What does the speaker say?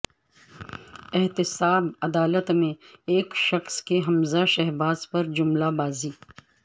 احتساب عدالت میں ایک شخص کی حمزہ شہباز پر جملہ بازی